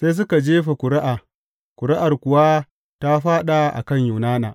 Sai suka jefa ƙuri’a, ƙuri’ar kuwa ta fāɗa a kan Yunana.